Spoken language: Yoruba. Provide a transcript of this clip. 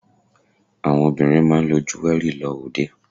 Àwọn obìnrin máa ń lo jéwẹ́rì lọ òde.